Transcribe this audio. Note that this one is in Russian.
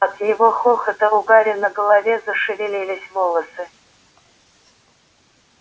от его хохота у гарри на голове зашевелились волосы